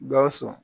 Gawusu